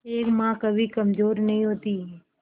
एक मां कभी कमजोर नहीं होती